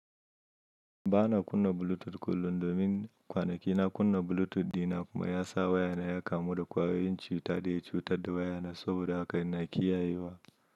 Ba na kunna Bluetooth kullum domin kwanaki na kunna Bluetooth dina kuma ya sa wayana ya kamu da kwayoyin cuta da ya cutar da wayana saboda haka ina kiyayewa.